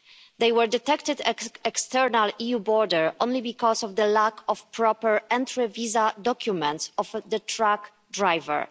They were detected at an external EU border only because of the lack of proper entry-visa documents of the truck driver.